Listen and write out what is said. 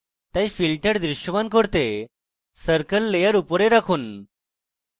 তাই filters দৃশ্যমান করতে circle layer উপরে রাখুন